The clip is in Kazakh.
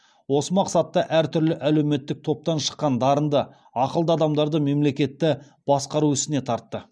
осы мақсатта әр түрлі әлеуметтік топтан шыққан дарынды ақылды адамдарды мемлекетті басқару ісіне тартты